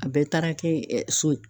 A bɛɛ taara kɛ ɛ so ye